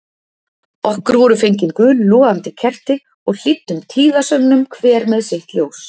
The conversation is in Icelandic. Okkur voru fengin gul logandi kerti og hlýddum tíðasöngnum hver með sitt ljós.